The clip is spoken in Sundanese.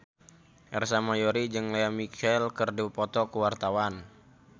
Ersa Mayori jeung Lea Michele keur dipoto ku wartawan